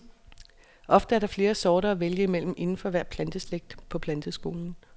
Ofte er der flere sorter at vælge imellem indenfor hver planteslægt på planteskolen.